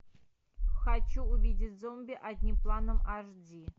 хочу увидеть зомби одним планом аш ди